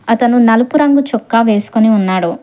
అతను నలుపు రంగు చొక్కా వేసుకొని ఉన్నాడు.